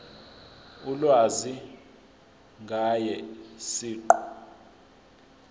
ulwazi ngaye siqu